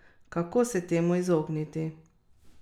Kako se temu izogniti?